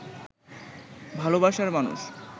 ভালবাসার মানুষ